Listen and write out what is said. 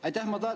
Aitäh!